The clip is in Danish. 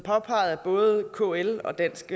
påpeget af både kl og dansk